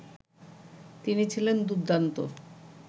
তিনি ছিলেন দুর্দান্ত